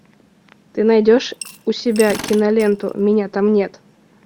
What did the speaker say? ты найдешь у себя киноленту меня там нет